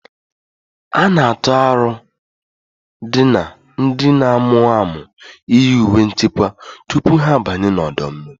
A na-atụ aro ndị na-amụ amụ iyi uwe nchekwa tupu ha abanye n'ọdọ mmiri